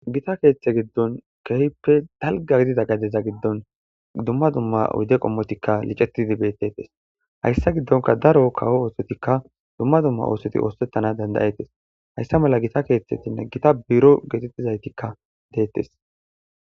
Gita keeththe giddon kehppe dalga gidida gadeza giddon dumma dumma ude qommotikka licettidi beettetes hayssa giddonka daro kawo oosotikka dumma dumma oosoti oosettana dandayettes hayssa mala gita keeththetinne gita biro geetettizaytikka deettes.